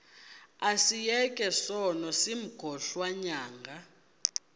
asiyeke sono smgohlwaywanga